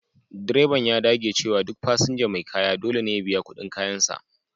Direban ya dage cewa duk fasinja mai kaya dole ne ya biya kudin kayansa.